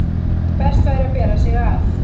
best væri að bera sig að.